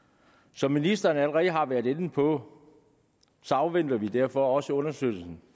som ministeren allerede har været inde på afventer vi derfor også undersøgelsen